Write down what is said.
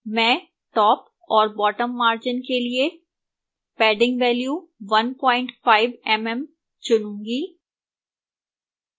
मैं top और bottom margins के लिए padding value 15 mm चुनूंगी